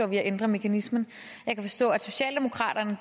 at ændre mekanismen jeg kan forstå at socialdemokraterne